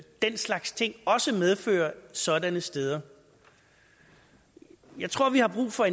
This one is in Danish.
den slags ting også medfører sådanne steder jeg tror vi har brug for